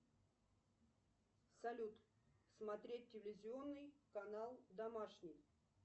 салют смотреть телевизионный канал домашний